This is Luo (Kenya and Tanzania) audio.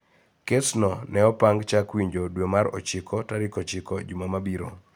Kesno ne opang chak winjo dwe mar ochiko tarik ochiko juma mabiro